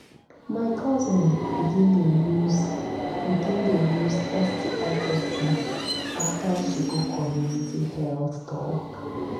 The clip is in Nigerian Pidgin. my cousin begin dey use begin dey use sti testing after she go community health talk.